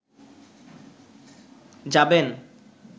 যাবেন